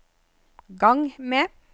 gang med